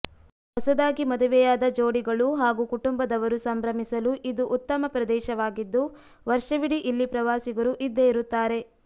ಹೊಸದಾಗಿ ಮದುವೆಯಾದ ಜೋಡಿಗಳು ಹಾಗೂ ಕುಟುಂಬದವರು ಸಂಭ್ರಮಿಸಲು ಇದು ಉತ್ತಮ ಪ್ರದೇಶವಾಗಿದ್ದು ವರ್ಷವಿಡಿ ಇಲ್ಲಿ ಪ್ರವಾಸಿಗರು ಇದ್ದೇ ಇರುತ್ತಾರೆ